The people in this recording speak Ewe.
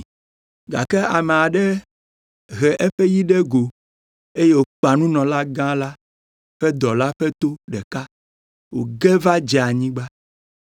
Gake ame aɖe he eƒe yi ɖe go eye wòkpa nunɔlagã la ƒe dɔla ƒe to ɖeka wòge va dze anyigba.